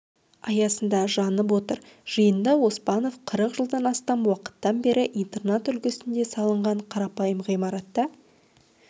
аясында жанып отыр жиында оспанов қырық жылдан астам уақыттан бері интернат үлгісінде салынған қарапайым ғимаратта